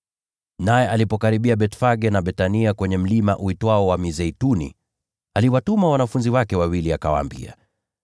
Naye alipokaribia Bethfage na Bethania kwenye mlima uitwao Mlima wa Mizeituni, aliwatuma wanafunzi wake wawili, akawaambia,